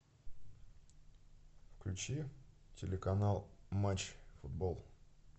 включи телеканал матч футбол